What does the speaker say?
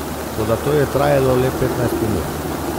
Toda to je trajalo le petnajst minut.